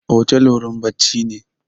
Otel wurin bacci ne